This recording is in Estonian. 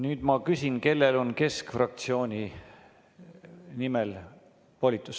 Nüüd ma küsin, kellel on keskfraktsiooni nimel volitus.